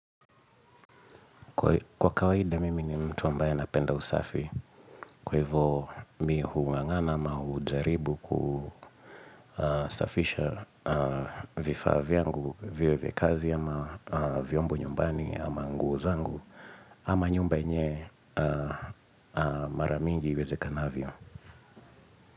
Kwa kawaida, mimi ni mtu ambaye napenda usafi. Kwa hivyo, mi hung'ang'ana ama hujaribu kusafisha vifaa vyangu, vya kikazi ama vyombo nyumbani ama nguo zangu ama nyumba yenyewe mara mingi iwezekanavyo.